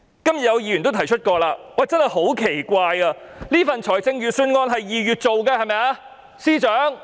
今天有議員也提出過，真的十分奇怪，這份預算案是在2月擬備的，對嗎，司長？